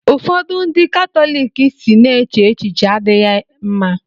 ụfọdụ ndị Katọlik si na eche echiche adịghị mma